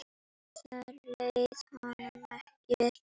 Þar leið honum ekki vel.